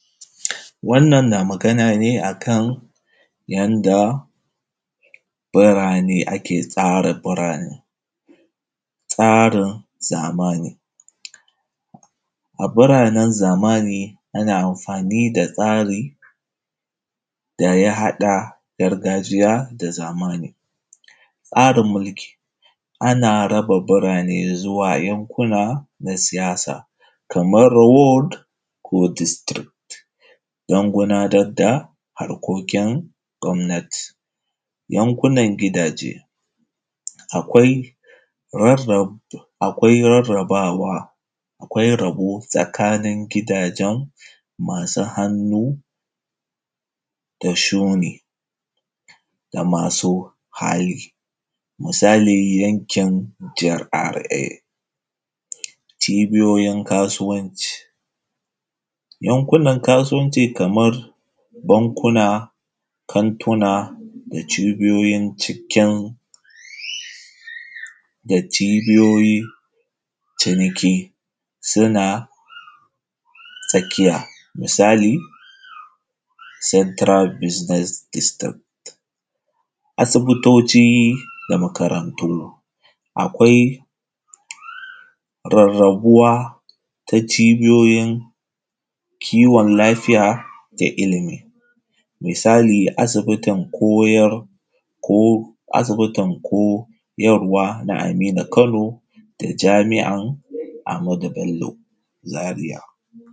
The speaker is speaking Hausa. Wannnan na magana ne a kan yadda birane ake tsara birane,, tsarin zamani. A biranen zamia ana amfani da tsari da ya haɗa gargajiya da zamani. Tsarin mulki ana tsara birane zuwa yankuna na siyasa, kamar ward ko district, don gudanar da harkokin gwamnati. Yankunan gidaje, akwai rarrabawa, akwai tsakanin gidajen masu hannu da shuni da masu hali, misali yankin GRA. Cibiyoyin kasuwanci yankunan kasuwanci kamar bankuna, kantuna da cibiyoyin cikin da cibiyoyin ciniki suna tsakiya misali, central business system. Asbitoci da makarantu, akwai rarrabuwa ta cibiyoyin kiwon lafiya da iilimi, misali asibitin koyar ko asibitin ko asibitin koyarwa na Aminu Kano, da jami’an Ahmadu Bello Zaria.